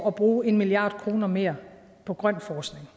at bruge en milliard kroner mere på grøn forskning